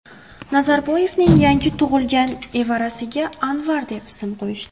Nazarboyevning yangi tug‘ilgan evarasiga Anvar deb ism qo‘yishdi.